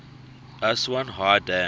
aswan high dam